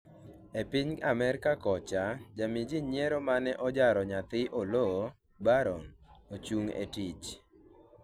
e piny Amerka kocha, jamii jii nyiero mane ojaro nyathi Oloo, Barron, ochung' etich